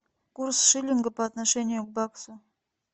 курс шиллинга по отношению к баксу